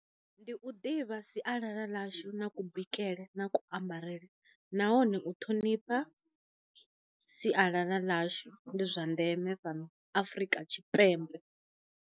Ndi u ḓivha sialala ḽashu na ku bikele na kuambarele nahone u thonipha sialala ḽashu ndi zwa ndeme fhano afrika tshipembe.